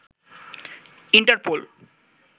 Interpol